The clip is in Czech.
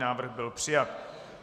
Návrh byl přijat.